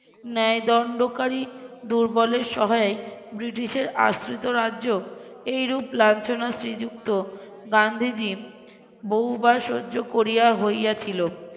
ন্যায়দন্ডকারী দুর্বলের সহায় ব্রিটিশের আশ্রিত রাজ্য এই রূপ লাঞ্ছনা শ্রীযুক্ত গান্ধীজী বহুবার সহ্য করিয়া হইয়াছিল